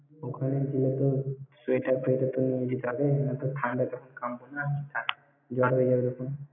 ওখানে গেলে কি sweater, fweater কিছু নিয়ে যেতে হবে? নয়ত ঠাণ্ডা টা খুব কনকনা, জ্বর হয়ে যাবে খন।